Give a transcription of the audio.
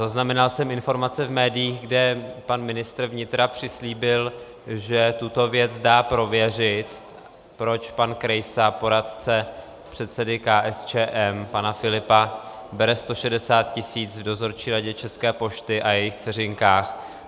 Zaznamenal jsem informace v médiích, kde pan ministr vnitra přislíbil, že tuto věc dá prověřit, proč pan Krejsa, poradce předsedy KSČM pana Filipa, bere 160 tisíc v Dozorčí radě České pošty a jejích dceřinkách.